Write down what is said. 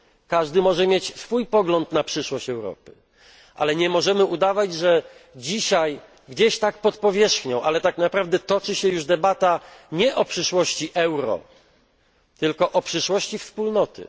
Każdy może mieć swój pogląd na przyszłość Europy, ale nie możemy ukrywać, że dzisiaj, gdzieś tak pod powierzchnią, tak naprawdę toczy się już debata nie o przyszłości euro, tylko o przyszłości Wspólnoty.